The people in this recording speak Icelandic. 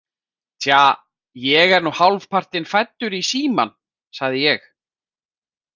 Tja, ég er nú hálfpartinn fæddur inn í Símann, sagði ég.